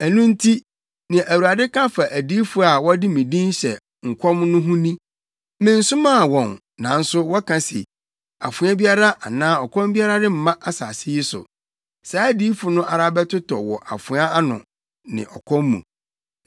Ɛno nti, nea Awurade ka fa adiyifo a wɔde me din hyɛ nkɔm no ho ni: mensomaa wɔn nanso wɔka se, ‘Afoa biara anaa ɔkɔm biara remma asase yi so.’ Saa adiyifo no ara bɛtotɔ wɔ afoa ano ne ɔkɔm mu.